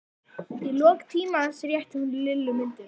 Og í lok tímans rétti hún Lillu myndina.